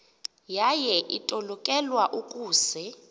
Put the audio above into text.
yaye itolikelwa ukuze